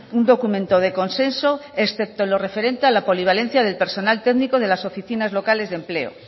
un documento de consenso excepto en lo referente a la polivalencia del personal técnico de las oficinas locales de empleo